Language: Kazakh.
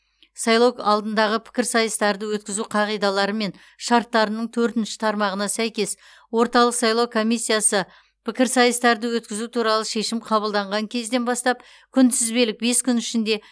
сайлау алдындағы пікірсайыстарды өткізу қағидалары мен шарттарының төртінші тармағына сәйкес орталық сайлау комиссиясы пікірсайыстарды өткізу туралы шешім қабылдаған кезден бастап күнтізбелік бес күн ішінде